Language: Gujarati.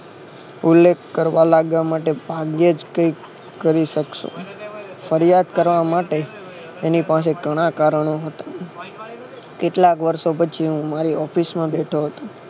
ઉલ્લેખ કરવા માટે ભાગ્યે જ કઈ કે કરી શકશો ફરિયાદ કરવા માટે તેની પાસે ઘણા કારણો હતા કેટલાક વારસો પછી હું મારી office માં બેઠો હતો.